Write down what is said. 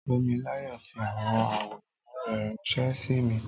Tómiláyọ̀ fi àwọn àwòrán rẹ̀ ránṣẹ́ sí mi